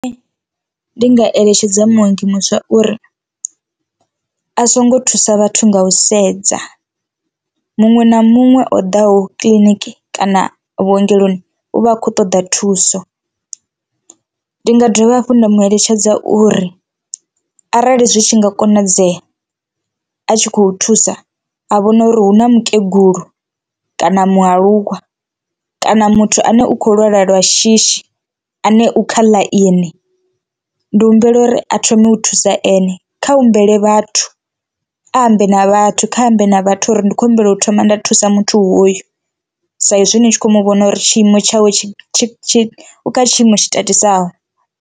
Ndi nga eletshedza muongi muswa uri a songo thusa vhathu nga u sedza muṅwe na muṅwe o ḓaho kiḽiniki kana vhuongeloni u vha a khou ṱoḓa thuso, ndi nga dovha hafhu nda mu eletshedza uri arali zwi tshi nga konadzea a tshi khou thusa a vhone uri hu na mukegulu kana mualuwa kana muthu ane u kho lwala lwa shishi ane u kha ḽaini ndi humbela uri a thome u thusa ene. Kha humbele vhathu a ambe na vhathu kha ambe na vhathu uri ndi khou humbela u thoma nda thusa muthu hoyo saizwi hu tshi kho mu vhona uri tshiimo tshawe tshi tshi u kha tshiimo tshi tatisaho.